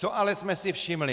Co ale jsme si všimli?